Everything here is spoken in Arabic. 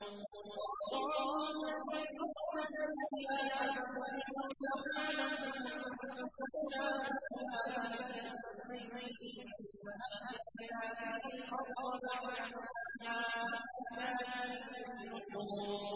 وَاللَّهُ الَّذِي أَرْسَلَ الرِّيَاحَ فَتُثِيرُ سَحَابًا فَسُقْنَاهُ إِلَىٰ بَلَدٍ مَّيِّتٍ فَأَحْيَيْنَا بِهِ الْأَرْضَ بَعْدَ مَوْتِهَا ۚ كَذَٰلِكَ النُّشُورُ